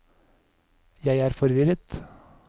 jeg er forvirret